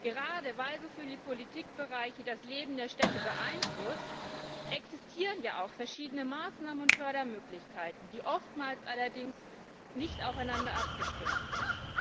Gerade weil so viele Politikbereiche das Leben der Städte beeinflussen, existieren ja auch verschiedene Maßnahmen und Fördermöglichkeiten, die allerdings oftmals nicht aufeinander abgestimmt sind.